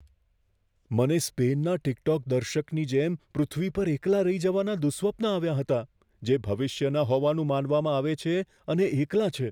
મને સ્પેનના ટિકટોક દર્શકની જેમ પૃથ્વી પર એકલા રહી જવાના દુઃસ્વપ્ન આવ્યા હતા, જે ભવિષ્યના હોવાનું માનવામાં આવે છે અને એકલા છે.